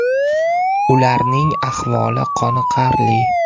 Ularning ahvoli qoniqarli.